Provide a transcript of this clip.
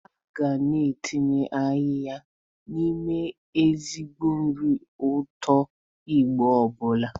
A ga na-etinye ayịya n'ime ezigbo nri ụtọ Igbo ọbụla.